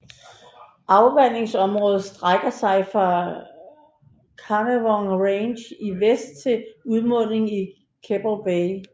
Afvandingsområdet strække sig fra Carnarvon Range i vest til udmundingen i Keppel Bay